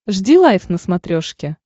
жди лайв на смотрешке